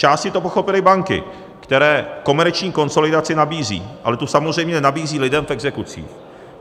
Zčásti to pochopily banky, které komerční konsolidaci nabízí, ale tu samozřejmě nenabízí lidem v exekucích.